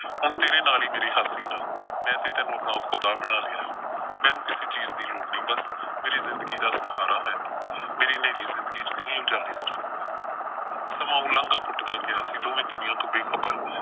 ਹੁਣ ਤੇਰੇ ਨਾਲ ਈ ਮੇਰੀ ਹਾਸੇ ਆ। ਮੈਂ ਤੇ ਤੈਨੂੰ ਆਪਣਾ ਖ਼ੁਦਾ ਬਣਾ ਲਿਆ ਐ, ਮੈਨੂੰ ਕਿਸੇ ਚੀਜ਼ ਦੀ ਲੋੜ ਨਈਂ ਬਸ ਮੇਰੀ ਜ਼ਿੰਦਗੀ ਦਾ ਸਹਾਰਾ ਹੈਂ ਤੂੰ। ਮੇਰੀ ਨ੍ਹੇਰੀ ਜ਼ਿੰਦਗੀ ਚ ਤੂੰ ਹੀ ਉਜਾਲੇ ਕਰ ਸਕਦੈਂ ਸਮਾਂ ਉਲਾਂਘਾਂ ਪੁਟਦਾ ਗਿਆ ਅਸੀਂ ਦੋਵੇਂ ਦੁਨੀਆਂ ਤੋਂ ਬੇਖ਼ਬਰ।